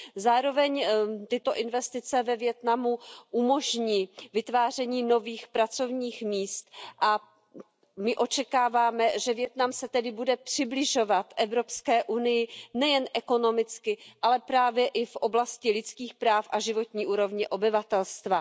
Zároveň tyto investice ve Vietnamu umožní vytváření nových pracovních míst a my očekáváme, že Vietnam se tedy bude přibližovat EU nejen ekonomicky, ale právě i v oblasti lidských práv a životní úrovně obyvatelstva.